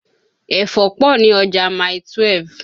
Ẹ̀fọ́ pọ̀ ni ọjà Mile 12.